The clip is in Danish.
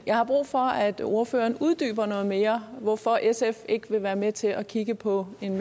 jeg har brug for at ordføreren uddyber noget mere hvorfor sf ikke vil være med til at kigge på en